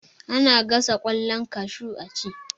Ana gasa kwallon kashu a ci.